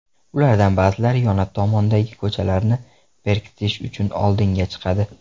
Ulardan ba’zilari yon tomondagi ko‘chalarni bekitish uchun oldinga chiqadi.